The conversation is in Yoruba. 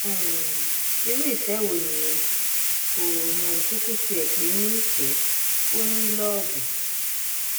um irú ìfẹ wo nìyẹn kò um kúkú tiẹ pè é nífẹẹ ò ní lóòbù